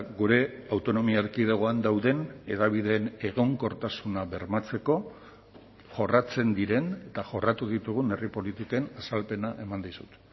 gure autonomia erkidegoan dauden hedabideen egonkortasuna bermatzeko jorratzen diren eta jorratu ditugun herri politiken azalpena eman dizut